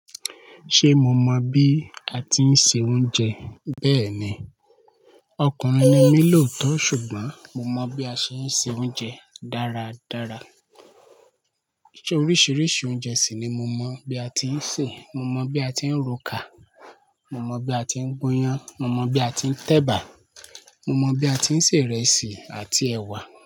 Ṣé mo mọ bí a tí ń se oúnjẹ bẹ́ẹ̀ ni, ọkùnrin ni mí lòótọ́ ṣùgbọ́n mo mọ bí a ṣe ń se oúnjẹ dáradára. Oríṣiríṣi oúnjẹ sì ni mo mọ bí a tí ń sè, mo mọ bí a tí ń ro ká, mo mọ bí a tí ń gbóyán, mo mọ bí a tí ń tẹ̀bà, mo mọ bí a tí ń sè ìrẹsì àti ẹ̀wà.